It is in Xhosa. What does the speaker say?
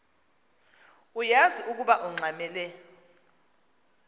uyaz ukoba ungxamel